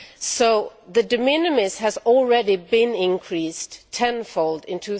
So the de minimis has already been increased tenfold in